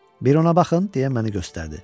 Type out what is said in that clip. Bir ona baxın, deyə məni göstərdi.